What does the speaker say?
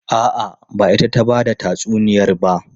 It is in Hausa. A'a, ba ita ta ba da tatsuniyar ba.